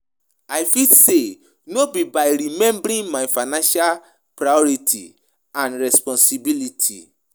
I fit say no be by remembering my financial priorities and responsibilities.